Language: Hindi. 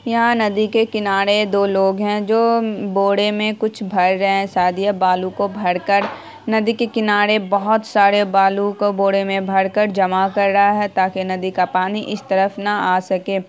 यहां नदी के किनारे दो लोग हैं जो बोरे में कुछ भर रहे हैं। शायद यह बालू को भर कर नदी के किनारे बहुत सारे बालू को बोरे में भर कर जमा कर रहा है ताकि नदी का पानी इस तरफ न आ सके ।